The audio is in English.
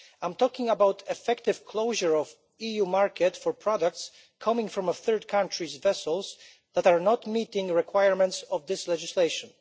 I am talking about the effective closure of the EU market for products coming from third country vessels that do not meet the requirements of this legislation.